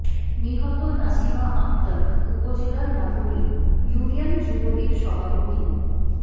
নিহত নাসিমা আক্তার উপজেলার নাগরী ইউনিয়ন যুবলীগ সভাপতি মো